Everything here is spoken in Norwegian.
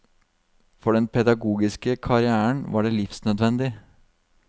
For den pedagogiske karrièren var det livsnødvendig.